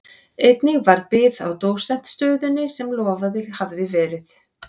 Einnig varð bið á dósentsstöðunni sem lofað hafði verið.